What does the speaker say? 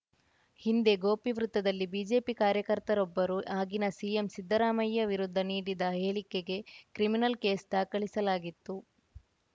ಹಿಂದೆ ಗೋಪಿ ವೃತ್ತದಲ್ಲಿ ಬಿಜೆಪಿ ಕಾರ್ಯಕರ್ತರೊಬ್ಬರು ಆಗಿನ ಸಿಎಂ ಸಿದ್ಧರಾಮಯ್ಯ ವಿರುದ್ಧ ನೀಡಿದ ಹೇಳಿಕೆಗೆ ಕ್ರಿಮಿನಲ್‌ ಕೇಸ್‌ ದಾಖಲಿಸಲಾಗಿತ್ತು